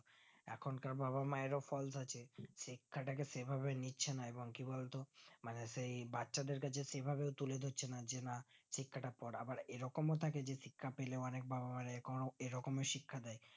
এখন কার বাবা মায়েরও fault আছে শিক্ষাটাকে সেভাবে নিছে না এবং কি বলতো মানে সেই বাচ্চাদের কাছে সেইভাবে তুলে ধরছে না যে না শিক্ষাটা পর আবার এইরকম থাকে শিক্ষা পেলে অনিক বাবা মা এরকম শিক্ষা দেয়